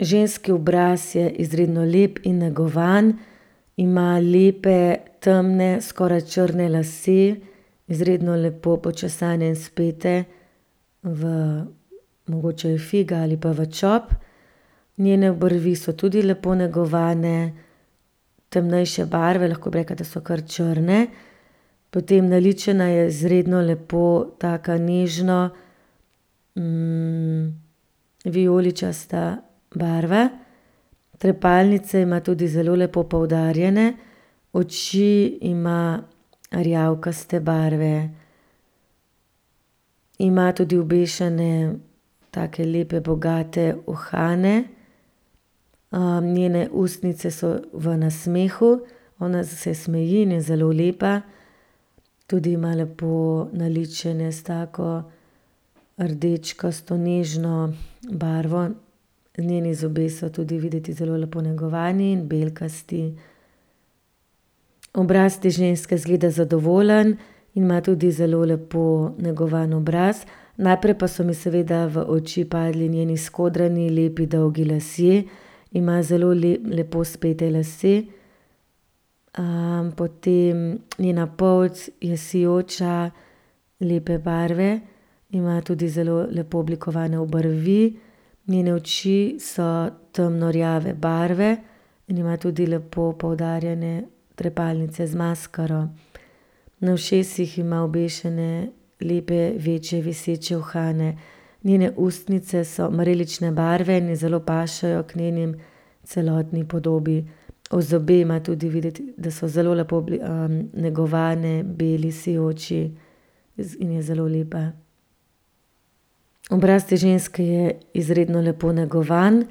Ženski obraz je izredno lep in negovan. Ima lepe, temne, skoraj črne lase, izredno lepo počesane in spete v mogoče figa ali pa v čop. Njene obrvi so tudi lepo negovane, temnejše barve, lahko bi rekla, da so kar črne. Potem naličena je izredno lepo, taka nežno, vijoličasta barva. Trepalnice ima tudi zelo lepo poudarjene, oči ima rjavkaste barve. Ima tudi obešene take lepe, bogate uhane. njene ustnice so v nasmehu, ona se smeji in je zelo lepa, tudi ima lepo naličene s tako rdečkasto nežno barvo. Njeni zobje so tudi videti zelo lepo negovani in belkasti. Obraz te ženske izgleda zadovoljen in ima tudi zelo lepo negovan obraz. Najprej pa so mi seveda v oči padli njeni skodrani lepi dolgi lasje, ima zelo lepo spete lase. potem njena polt je sijoča, lepe barve. Ima tudi zelo lepo oblikovane obrvi, njene oči so temno rjave barve. Ima tudi lepo poudarjene trepalnice z maskaro. Na ušesih ima obešene lepe večje viseče uhane. Njene ustnice so marelične barve in je zelo pašejo k njeni celotni podobi. zobe ima tudi videti, da so zelo lepo, negovane, beli, sijoči. in je zelo lepa. Obraz te ženske je izredno lepo negovan.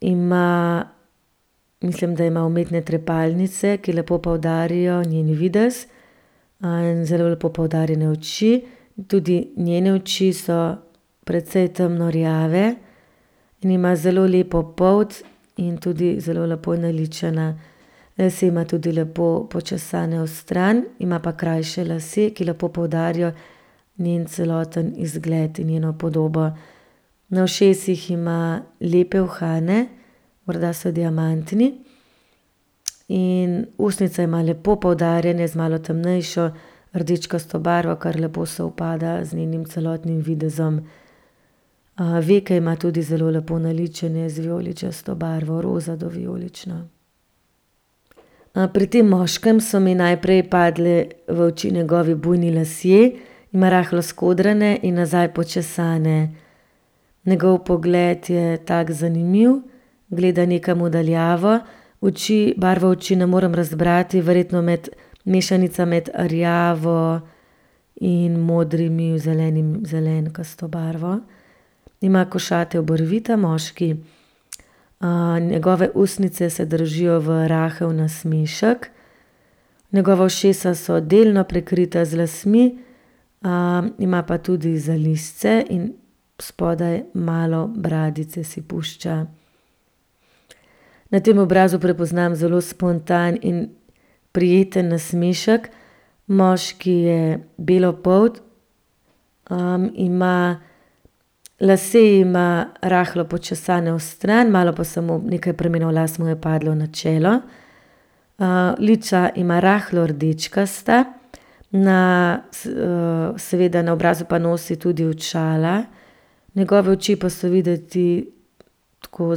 Ima, mislim, da ima umetne trepalnice, ki lepo poudarijo njen videz. in zelo lepo poudarjene oči. Tudi njene oči so precej temno rjave in ima zelo lepo polt in tudi zelo lepo je naličena. Lase ima tudi lepo počesane vstran, ima krajše lase, ki lepo poudarijo njen celoten izgled in njeno podobo. Na ušesih ima lepe uhane, morda so diamantni. In ustnice ima lepo poudarjene z malo temnejšo rdečkasto barvo, kar lepo sovpada z njenim celotnim videzom. veke ima tudi zelo lepo naličene z vijoličasto barvo, roza do vijolično. pri tem moškem so mi najprej padle v oči njegovi bujni lasje, ima rahlo skodrane in nazaj počesane. Njegov pogled je tak zanimiv, gleda nekam v daljavo. Oči, barvo oči ne morem razbrati. Verjetno med mešanica med rjavo in modrimi, zelenkasto barvo. Ima košate obrvi ta moški, njegove ustnice se držijo v rahel nasmešek. Njegova ušesa so delno prekrita z lasmi, ima pa tudi zalizce in spodaj malo bradice si pušča. Na tem obrazu prepoznam zelo spontan in prijeten nasmešek. Moški je belopolt, ima lase ima rahlo počesane stran, malo pa samo, nekaj pramenov las mu je padlo na čelo. lica ima rahlo rdečkasta, na seveda na obrazu pa nosi tudi očala. Njegove oči pa so videti tako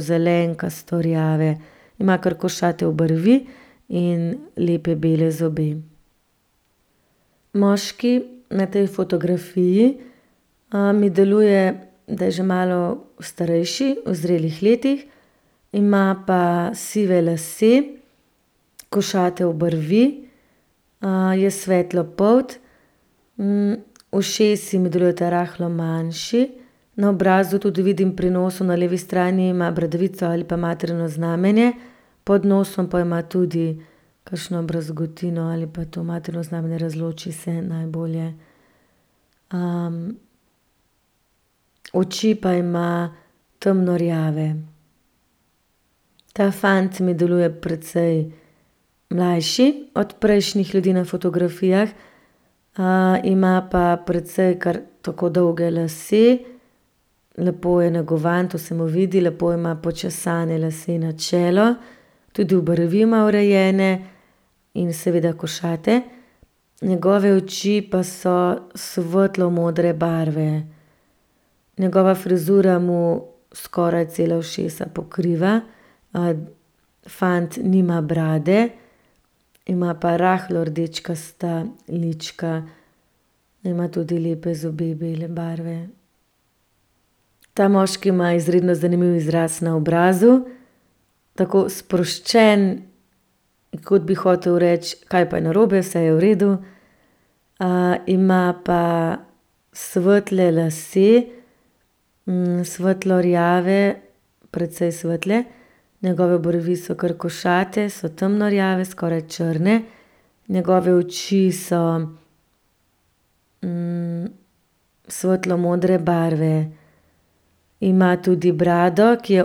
zelenkasto rjave. Ima kar košate obrvi in lepe bele zobe. Moški na tej fotografiji, mi deluje, da je že malo starejši, v zrelih letih. Ima pa sive lase, košate obrvi, je svetlopolt, ušesi mi delujta rahlo manjši. Na obrazu tudi vidim pri nosu na levi strani ima bradavico ali pa materino znamenje. Pod nosom pa ima tudi kakšno brazgotino ali pa to materino znamenje, ne razloči se najbolje. oči pa ima temno rjave. Ta fant mi deluje precej mlajši od prejšnjih ljudi na fotografijah. ima pa precej, kar tako dolge lase. Lepo je negovan, to se mu vidi. Lepo ima počesane lase na čelo. Tudi obrvi ima urejene in seveda košate. Njegove oči pa so svetlo modre barve. Njegova frizura mu skoraj cela ušesa pokriva. fant nima brade, ima pa rahlo rdečkasta lička. Ima tudi lepe zobe bele barve. Ta moški ima izredno zanimiv izraz na obrazu. Tako sproščen, kot bi hotel reči: "Kaj pa je narobe? Vse je v redu." ima pa svetle lase, svetlo rjave, precej svetle. Njegove obrvi so kar košate, so temno rjave, skoraj črne. Njegove oči so, svetlo modre barve. Ima tudi brado, ki je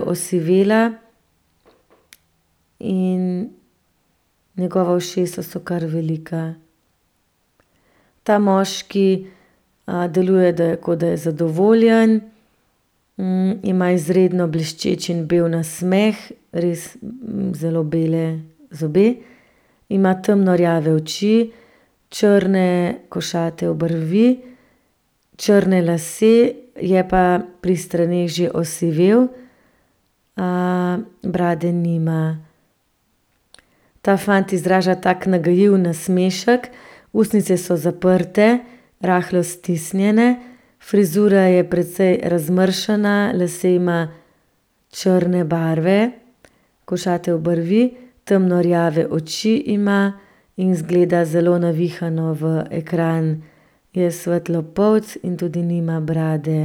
osivela. In njegova ušesa so kar velika. Ta moški, deluje, da je, kot da je zadovoljen. ima izredno bleščeč in bel nasmeh, res zelo bele zobe. Ima temno rjave oči, črne, košate obrvi, črne lase, je pa pri straneh že osivel. brade nima. Ta fant izraža tak nagajiv nasmešek, ustnice so zaprte, rahlo stisnjene. Frizura je precej razmršena, lase ima črne barve, košate obrvi, temno rjave oči ima in izgleda zelo navihano v ekran. Je svetlopolt in tudi nima brade.